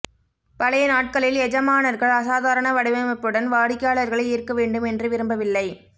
பழைய நாட்களில் எஜமானர்கள் அசாதாரண வடிவமைப்புடன் வாடிக்கையாளர்களை ஈர்க்க வேண்டும் என்று விரும்பவில்லை